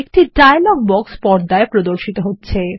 একটি ডায়লগ বাক্স পর্দায় প্রদর্শিত হবে